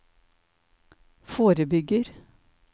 forebygger